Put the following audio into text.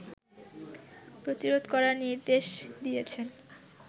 প্রতিরোধ করার নির্দেশ দিয়েছেন